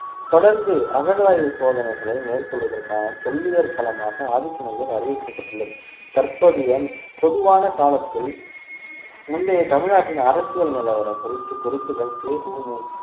தொடர்ந்து அகழாய்வு சோதனைகளை மேற்கொள்வதற்கான தொல்லியல் களமாக ஆதிச்சநல்லூர் அறிவிக்கப்பட்டுள்ளது தற்போதைய பொதுவான காலத்தில் முந்தைய தமிழ்நாட்டின் அரசியல் நிலவரம் குறித்து குறிப்புகள் பெ உ மு